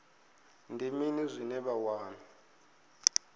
ndi mini zwine vha wana